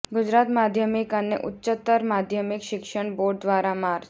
ગુજરાત માધ્યમિક અને ઉચ્ચતર માધ્યમિક શિક્ષણ બોર્ડ દ્વારા માર્ચ